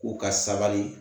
U ka sabali